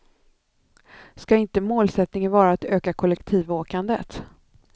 Ska inte målsättningen vara att öka kollektivåkandet?